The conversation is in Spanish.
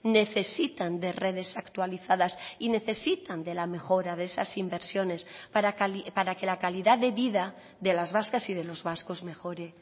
necesitan de redes actualizadas y necesitan de la mejora de esas inversiones para que la calidad de vida de las vascas y de los vascos mejore